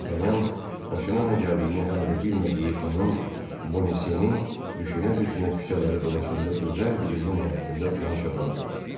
Dartanyan başına nə gəldiyini hələ də bilmədiyi hanım Bonasyeni düşünə-düşünə küçələri dolaşanda gözəl bir evin həyətində tanış adam gördü.